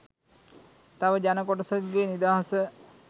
තවත් ජන කොටසකගේ නිදහස